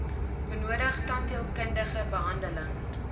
benodig tandheelkundige behandeling